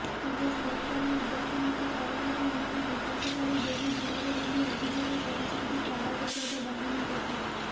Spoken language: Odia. ତେବେ ସରକାରୀ ଉଦାସୀନତା କାରଣରୁ ଏମାନେ ବିକାଶଠାରୁ ବହୁ ଦୂରରେ ବୋଲି ଅଭିଯୋଗ କରିଛନ୍ତି ତାରା ପ୍ରସାଦ ବାହିନୀପତି